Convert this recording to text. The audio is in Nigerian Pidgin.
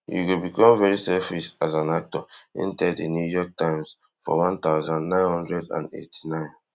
you go become very selfish as an actor im tell di new york times forone thousand, nine hundred and eighty-nine